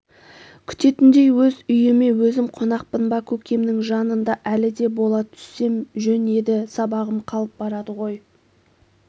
күтетіндей өз үйіме өзім қонақпын ба көкемнің жанында әлі де бола түссем жөн еді сабағым қалып барады ғой